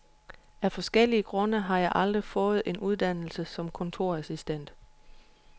Af forskellige grunde har jeg aldrig fået en uddannelse som kontorassistent.